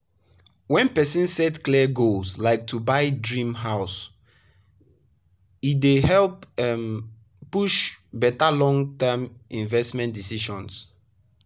when person set clear money goals like to to buy dream house e dey help um push better long-term investment decisions.